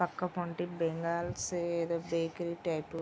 పక్క కోటి బెంగాల్ సైడ్ ఏదో bakery type --